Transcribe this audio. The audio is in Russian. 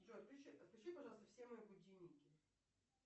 джой отключи пожалуйста все мои будильники